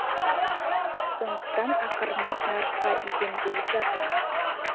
сондықтан ақырындап нарыққа икемделіп жатырмыз